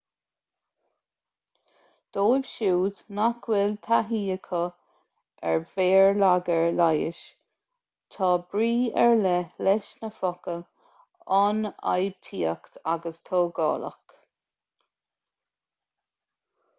dóibh siúd nach bhfuil taithí acu ar bhéarlagair leighis tá brí ar leith leis na focail ionfhabhtaíoch agus tógálach